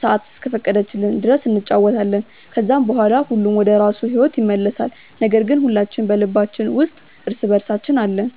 ሰአት እስከፈቀደችልን ድረስ እንጫወታለን። ከዛም በኋላ ሁሉም ወደራሱ ሂዎት ይመለሳል ነገር ግን ሁላችን በልባችን ውስጥ እርስ በእርሳችን አለን።